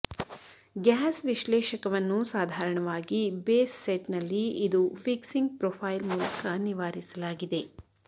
gas ವಿಶ್ಲೇಷಕವನ್ನು ಸಾಧಾರಣವಾಗಿ base ಸೆಟ್ನಲ್ಲಿ ಇದು ಫಿಕ್ಸಿಂಗ್ ಪ್ರೊಫೈಲ್ ಮೂಲಕ ನಿವಾರಿಸಲಾಗಿದೆ